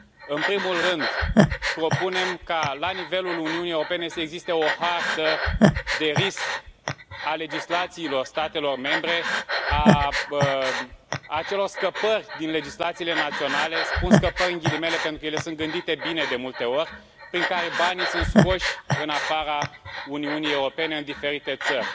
În primul rând, propunem ca la nivelul Uniunii Europene să existe o hartă de risc a legislațiilor statelor membre a acelor scăpări din legislațiile naționale spun scăpări între ghilimele pentru ele sunt gândite bine de multe ori prin care banii sunt scoși în afara Uniunii Europene în diferite țări.